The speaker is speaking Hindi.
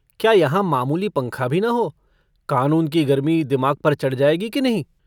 क्या यहाँ मामूली पंखा भी न हो कानून की गर्मी दिमाग पर चढ़ जायगी कि नहीं।